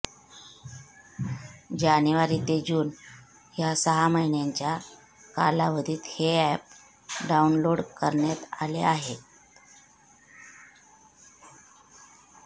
जानेवारी ते जून या सहा महिन्यांच्या कालावधीत हे अॅप डाऊनलोड करण्यात आले आहेत